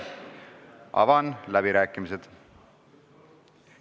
Avan läbirääkimised.